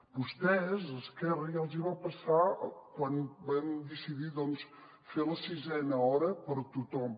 a vostès a esquerra ja els hi va passar quan van decidir doncs fer la sisena hora per a tothom